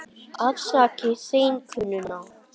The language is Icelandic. Afsakið seinkunina.